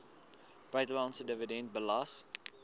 buitelandse dividend belas